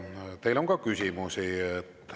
Ja teile on ka küsimusi.